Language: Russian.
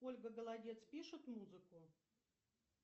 ольга голодец пишет музыку